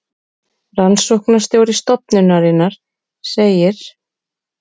Rannsóknastjóri stofnunarinnar segir: